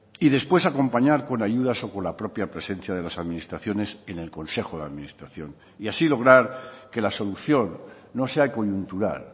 y después acompañar con ayudas o con la propia presencia de las administraciones en el consejo de administración y así lograr que la solución no sea coyuntural